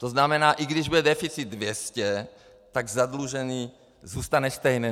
To znamená, i když bude deficit 200, tak zadlužení zůstane stejné.